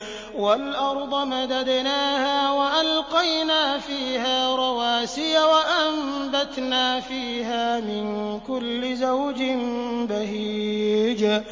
وَالْأَرْضَ مَدَدْنَاهَا وَأَلْقَيْنَا فِيهَا رَوَاسِيَ وَأَنبَتْنَا فِيهَا مِن كُلِّ زَوْجٍ بَهِيجٍ